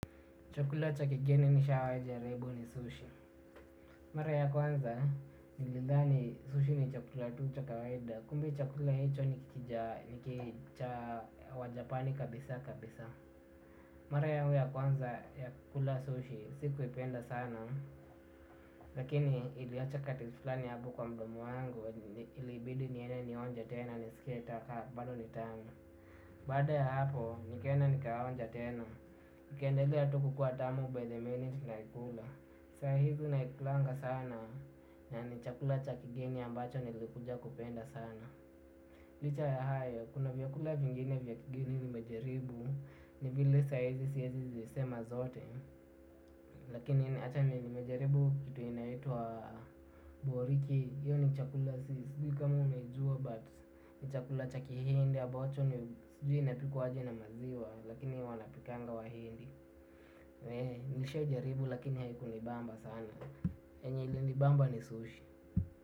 Chakula cha kigeni nishawai jaribu ni sushi. Mara ya kwanza, nilidhani sushi ni chakula tu cha kawaida. Kumbe chakula hicho ni kija wa japani kabisa kabisa. Mara yangu ya kwanza ya kula sushi, sikuipenda sana. Lakini iliacha kati flani hapo kwa mdomo wangu, ilibidi niende nionje tena nisikie ka bado ni tamu. Baada ya hapo, nikaenda nikaonja tena. Ikaendelea tu kukuwa tamu by the minute naikula. Saa hizi naikulanga sana na ni chakula cha kigeni ambacho nilikuja kupenda sana. Licha ya hayo kuna vyakula vingine vya kigeni nimejaribu ni vile saizi siezi zisema zote. Lakini acha ni nimejaribu kitu inaitwa boriki hiyo ni chakula sisi kama umejua but ni chakula cha kihindi ambacho ni sujui inapikwaje na maziwa. Lakini wanapikanga wahindi. Nishai jaribu lakini haikunibamba sana yenye ilinibamba ni sushi.